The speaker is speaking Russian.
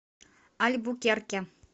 альбукерке